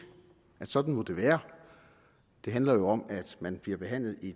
og at sådan må det være det handler jo om at man bliver behandlet